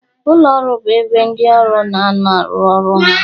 Ụlọ ọrụ bụ ebe ndị ọrụ na anọ arụ ọrụ ha.